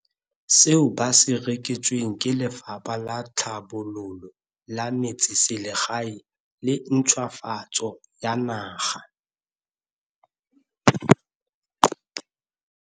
Seo ba se reketsweng ke Lefapha la Tlhabololo ya Metseselegae le Ntšhwafatso ya Naga.